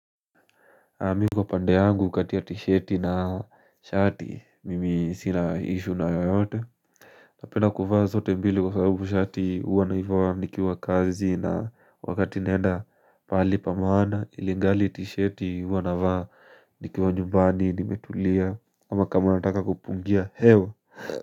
Mimi kwa pande yangu katia t-shati na shati, mimi sina issue na yoyote Napenda kuvaa zote mbili kwa sababu shati huwa naivaa nikiwa kazi na wakati naenda pahali pa maana ilingali t-shati huwa navaa nikiwa nyumbani nimetulia ama kama nataka kupungia hewa.